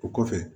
O kɔfɛ